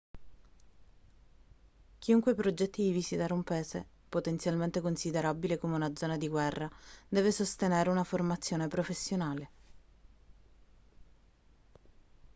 chiunque progetti di visitare un paese potenzialmente considerabile come una zona di guerra deve sostenere una formazione professionale